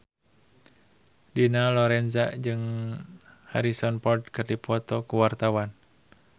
Dina Lorenza jeung Harrison Ford keur dipoto ku wartawan